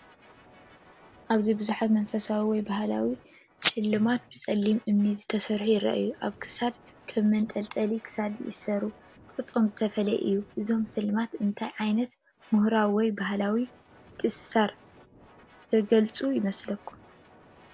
ኣብዚ ብዙሓት መንፈሳዊ ወይ ባህላዊ ስልማት ብጸሊም እምኒ ዝተሰርሑ ይረኣዩ። ኣብ ክሳድ ከም መንጠልጠሊ ክሳድ ይተኣሳሰሩ። ቅርጾም ዝተፈላለየ እዩ። እዞም ስልማት እንታይ ዓይነት ምሁራዊ ወይ ባህላዊ ምትእስሳር ዘገልግሉ ይመስለኩም?